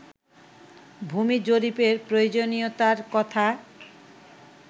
ভূমি জরিপের প্রয়োজনীয়তার কথা